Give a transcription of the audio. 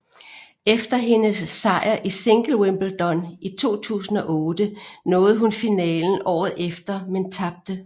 Efter hendes sejr i single i wimbledon i 2008 nåede hun finalen året efter men tabte